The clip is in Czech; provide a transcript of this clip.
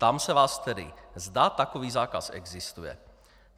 Ptám se vás tedy, zda takový zákaz existuje.